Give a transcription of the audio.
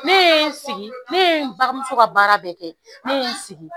Ne ye sigi ne n bamuso ka baara bɛɛ kɛ ne ye n sigi